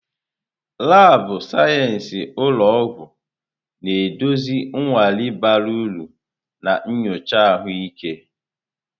Laabụ̀ sayensị ụlọ ọgwụ na-eduzi nnwale bara uru na nyocha ahụike.